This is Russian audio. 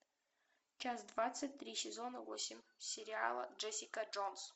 часть двадцать три сезона восемь сериала джессика джонс